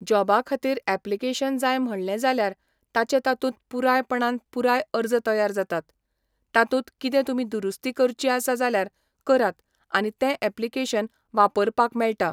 जोबा खातीर एप्लीकेशन जाय म्हणलें जाल्यार ताचें तातूंत पुरायपणान पुराय अर्ज तयार जाता, तातूंत कितें तुमी दुरुस्ती करची आसा जाल्यार करात आनी तें एप्लीकेशन वापरपाक मेळटा.